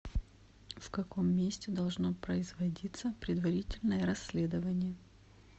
в каком месте должно производиться предварительное расследование